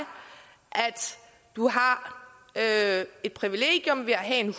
du har et privilegium ved at have en